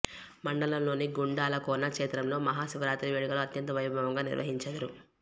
మండలంలోని గుండాలకోన క్షేత్రంలో మహా శివరాత్రి వేడుకలు అత్యంత వైభవంగా నిర్వహించెదరు